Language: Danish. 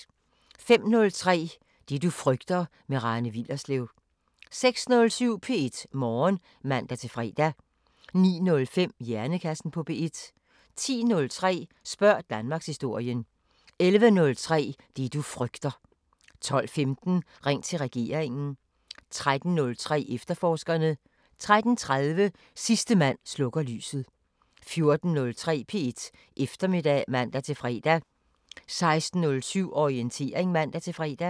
05:03: Det du frygter – med Rane Willerslev 06:07: P1 Morgen (man-fre) 09:05: Hjernekassen på P1 10:03: Spørg Danmarkshistorien 11:03: Det du frygter 12:15: Ring til regeringen 13:03: Efterforskerne 13:30: Sidste mand slukker lyset 14:03: P1 Eftermiddag (man-fre) 16:07: Orientering (man-fre)